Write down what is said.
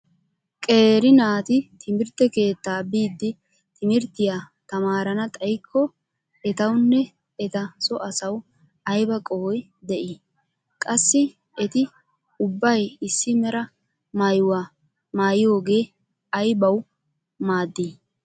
Qeeri naati timirtte keettaa biidi timirttiya tamaarana xayikko etawunne eta so asawu ayba qohoy de"i? Qassi eti ubbay issi mera maayuwa maayiyogee aybawu maaddi?